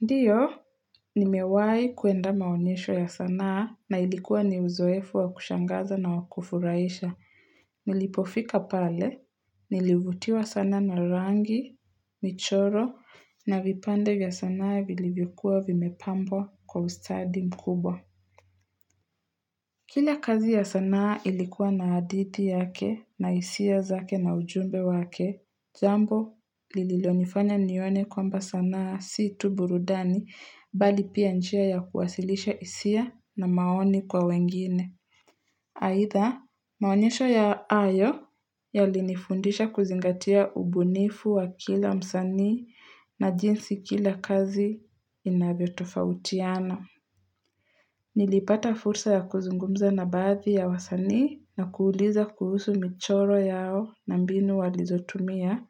Ndiyo, nimewai kuenda maonyesho ya sanaa na ilikuwa ni uzoefu wa kushangaza na wakufuraisha. Nilipofika pale, nilivutiwa sana na rangi, michoro, na vipande vya sanaa vilivyokuwa vimepambo kwa ustadi mkubwa. Kila kazi ya sanaa ilikuwa na haldihi yake na isia zake na ujumbe wake, zambo lililonifanya nione kwamba sanaa si tu burudani bali pia njia ya kuwasilisha hisia na maoni kwa wengine. Aitha maonishe ya yo aya yalinifundisha kuzingatia ubunifu wa kila msani na jinsi kila kazi inavyo tofautiana. Nilipata fursa ya kuzungumza na baadhi ya wasani na kuuliza kuhusu michoro yao na mbinu walizotumia.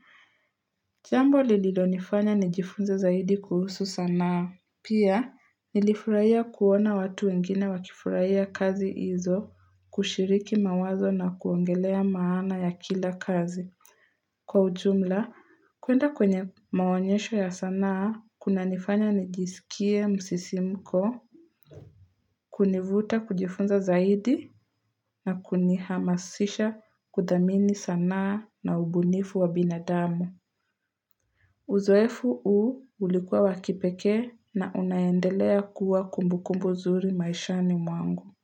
Jambo lililo nifanya nijifunza zaidi kuhusu sanaa. Pia, nilifurahia kuona watu wengine wakifurahia kazi hizo kushiriki mawazo na kuongelea maana ya kila kazi. Kwa ujumla, kuenda kwenye maonyesho ya sanaa, kuna nifanya nijisikie msisimko, kunivuta kujifunza zaidi na kuni hamasisha kudhamini sanaa na ubunifu wa binadamu. Uzoefu u ulikuwa wakipeke na unaendelea kuwa kumbukumbu zuri maishani mwangu.